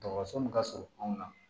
Dɔgɔtɔrɔso min ka surun anw na